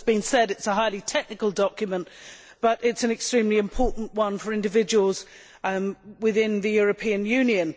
As has been said, it is a highly technical document, but it is an extremely important one for individuals within the European Union.